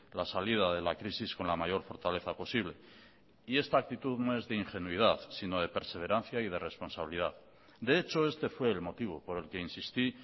la salida de la crisis con la mayor fortaleza posible y esta actitud no es de ingenuidad sino de perseverancia y de responsabilidad de hecho este fue el motivo por el que insistí